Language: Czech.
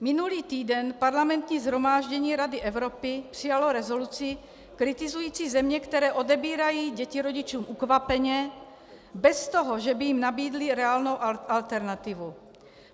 Minulý týden Parlamentní shromáždění Rady Evropy přijalo rezoluci kritizující země, které odebírají děti rodičům ukvapeně, bez toho, že by jim nabídli reálnou alternativu.